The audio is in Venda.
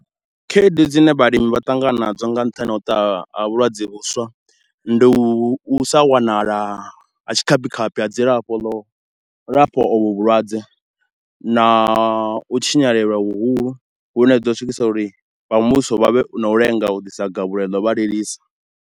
Khaedu dzine vhalimi vha ṱangana nadzo nga nṱhani ha u tou a vhulwadze vhuswa, ndi u sa wanala ha tshikhaphi khaphi ha dzilafho ḽo lafha ovhu vhulwadze na u tshinyalelwa huhulu, hu no ḓo swikisa uri vha muvhuso vha vhe na u lenga u ḓisa gavhelo ḽo vha lilisa.